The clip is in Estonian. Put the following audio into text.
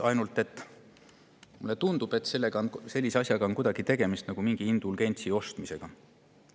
Ainult et mulle tundub, et selle puhul on tegemist nagu mingi indulgentsi ostmisega.